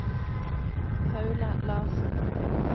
Paula Larsen